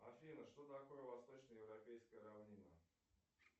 афина что такое восточно европейская равнина